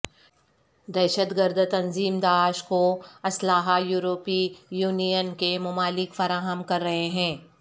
دہشت گرد تنظیم داعش کو اسلحہ یورپی یونین کے ممالک فراہم کر رہے ہیں